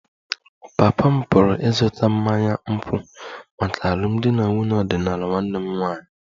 Papa m pụrụ ịzụta mmanya nkwụ maka alụmdi na nwunye ọdịnala nwanne m nwanyị